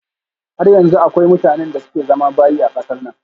Har yanzu akwai mutanen da suke zama bayi a kasar nan